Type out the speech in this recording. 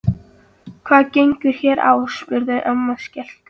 Hvað gengur hér á? spurði amma skelkuð.